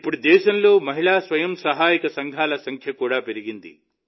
ఇప్పుడు దేశంలో మహిళా స్వయం సహాయక సంఘాల సంఖ్య కూడా పెరిగింది